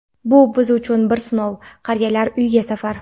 "Bu – biz uchun bir sinov" - qariyalar uyiga safar.